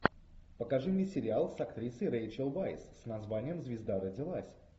покажи мне сериал с актрисой рэйчел вайс с названием звезда родилась